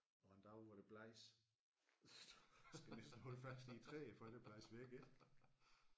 Og en dag hvor det blæser skal de så holde fast i træerne for ikke at blæse væk ik